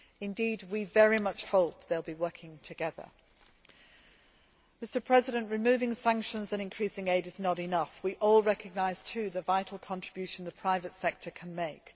Indeed, we very much hope they will be working together. Removing sanctions and increasing aid is not enough we all recognise too the vital contribution that the private sector can make.